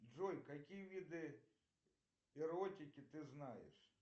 джой какие виды эротики ты знаешь